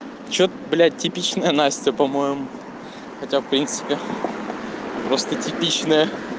что блять типичная настя по-моему хотя в принципе просто типичная